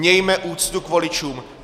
Mějme úctu k voličům.